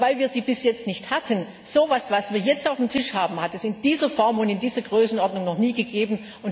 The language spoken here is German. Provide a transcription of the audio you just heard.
Aber weil wir sie bis jetzt nicht hatten So was, was wir jetzt auf dem Tisch haben, hat es in dieser Form und in dieser Größenordnung noch nie gegeben.